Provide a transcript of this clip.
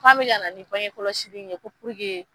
K'anw mi kana ni bangekɔlɔsi in ye ko